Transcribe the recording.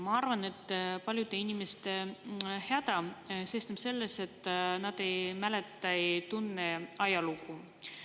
Ma arvan, et paljude inimeste häda seisneb selles, et nad ei mäleta ega tunne ajalugu.